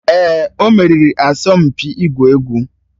Èè, o meriri asọmpi ịgwu egwu.